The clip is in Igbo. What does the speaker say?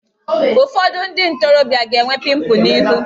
Ụfọdụ ndị ntorobịa ga-enwe pịmpụl n'ihu